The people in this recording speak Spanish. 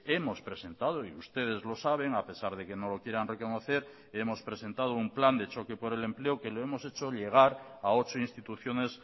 hemos presentado y ustedes lo saben a pesar de que no lo quieran reconocer hemos presentado un plan de choque por el empleo que lo hemos hecho llegar a ocho instituciones